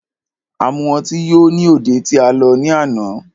A mu ọtí yó ní òde tí a lọ ní àná.